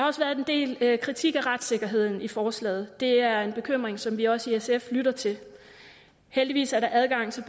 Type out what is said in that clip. også været en del kritik af retssikkerheden i forslaget det er en bekymring som vi også i sf lytter til heldigvis er der adgang til